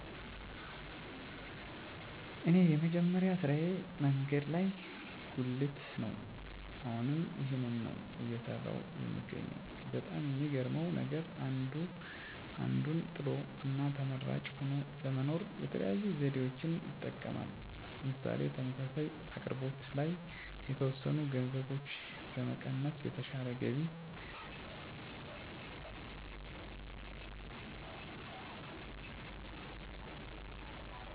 እኔ የመጀመሪያ ስራየ መንገድ ላይ ጉልት ነው አሁንም ይህንን ነው እየሰራሁ የምገኘው በጣም የሚገርመው ነገር አንዱ አንዱን ጥሎ እና ተመራጭ ሆኖ ለመኖር የተለያዩ ዘዴዎችን ይጠቀማል ምሳሌ ተመሳሳይ አቅርቦት ላይ የተወሰኑ ገንዘቦችን በመቀነስ የተሻለ ገቢ ለማግኘት ማለትም እንዴት ተወዳዳሪ መሆን የሚችሉበት ዘዴአቸዉን በየቀኑ ሲቀያይሩ ማየት በጣም ይገርመኛል ዛሬ ማንነትዎን እንዴት ቀረፀው ነገር የተሻለ ነገር መማር መቆጠብ ዘመናዊ የሆኑ አሰራሮች ማስፈን ተወዳዳሪ መሆን የገቢ ምንጭ ማሳደግ ለሀገርም ሆነ ለወገን ተደራሽ እንዲሆን ማድረግ